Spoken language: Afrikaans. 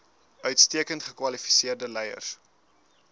uitstekend gekwalifiseerde leiers